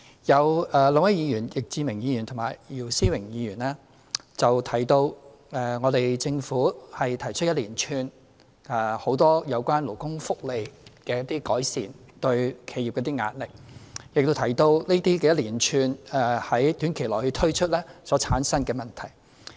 有兩位議員——易志明議員和姚思榮議員——提到，政府提出一連串有關勞工福利的改善措施對企業帶來壓力，亦提到這一連串在短期內會推出的措施所產生的問題。